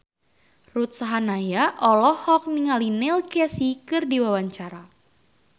Ruth Sahanaya olohok ningali Neil Casey keur diwawancara